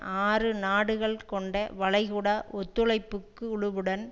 ஆறு நாடுகள் கொண்ட வளைகுடா ஒத்துழைப்பு குழுவுடன்